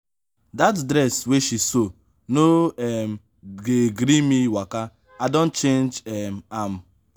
dat dress wey she sew no um dey gree me waka i don change um am.